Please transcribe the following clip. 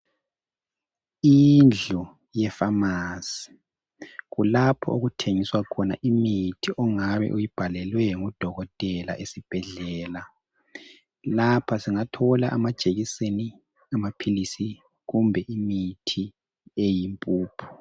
Indlu ye pharmacy kulapho okuthengiswa khona imithi ongabe uyibhalelwe ngudokotela esibhedlela lapha singathola amajekiseni , amaphilisi kumbe imithi eyimpuphu.